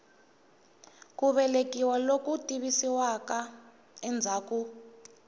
ku velekiwa loku tivisiwaka endzhaku